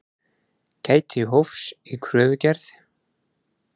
Gæti hófs í kröfugerð